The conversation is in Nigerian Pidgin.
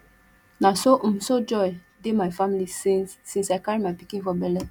na so um so joy dey my family since since i carry my pikin for bele